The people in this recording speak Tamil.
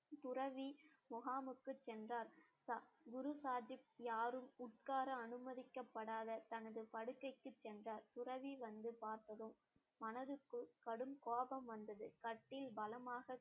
துறவி முகாமுக்கு சென்றார் குருசாதித் யாரும் உட்கார அனுமதிக்கப்படாத தனது படுக்கைக்கு சென்றார் துறவி வந்து பார்த்ததும் மனதுக்குள் கடும் கோபம் வந்தது கட்டில் பலமாக